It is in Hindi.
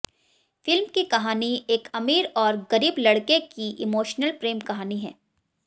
फिल्म की कहानी एक अमीर और गरीब लड़के की इमोशनल प्रेम कहानी है